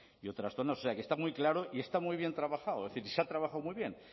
zonas o sea que está muy claro y está muy bien trabajado es decir y se ha trabajado muy bien